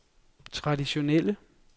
traditionelle